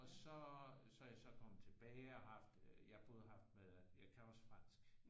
Og så så er jeg så kommet tilbage og har haft ja både haft med jeg kan også fransk